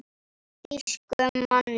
Þýskum manni.